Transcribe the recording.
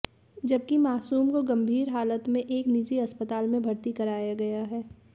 जबकि मासूम को गंभीर हालत में एक निजी अस्पताल में भर्ती कराया गया है